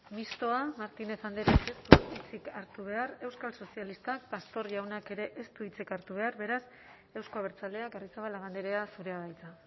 mistoa martínez andrea ez du hitzik hartu behar euskal sozialistak pastor jaunak ere ez du hitzik hartu behar beraz euzko abertzaleak arrizabalaga andrea zurea da hitza